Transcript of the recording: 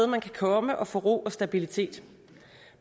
man kan komme og få ro og stabilitet